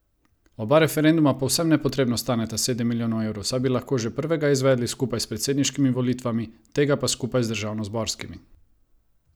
Oba referenduma povsem nepotrebno staneta sedem milijonov evrov, saj bi lahko že prvega izvedli skupaj s predsedniškimi volitvami, tega pa skupaj z državnozborskimi!